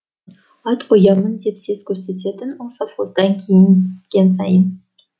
ат қоямын деп сес көрсететін ол совхоздан кейін сайын